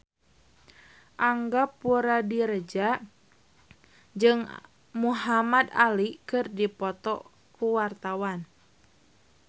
Angga Puradiredja jeung Muhamad Ali keur dipoto ku wartawan